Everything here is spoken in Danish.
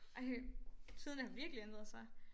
Ej tiderne har virkelig ændret sig